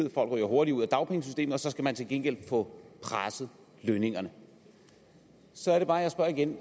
at folk ryger hurtigere ud af dagpengesystemet og så skal man til gengæld få presset lønningerne så er det bare jeg spørger igen